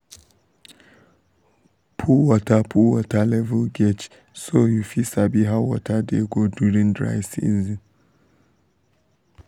put water put water level gauge so you fit sabi how water dey go during dry season.